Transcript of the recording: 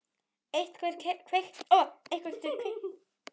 Einhver kveikti ljósin.